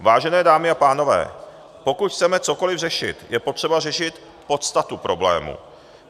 Vážené dámy a pánové, pokud chceme cokoli řešit, je potřeba řešit podstatu problému.